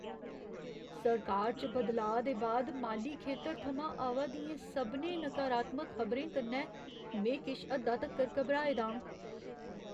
सरकार च बदलाऽ दे बाद माली खेतर थमां आवा दियें सभनें नकारात्मक खबरें कन्नै में किश हद्दा तगर घबराए दा आं।